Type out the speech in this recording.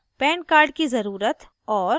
pan card की ज़रूरत और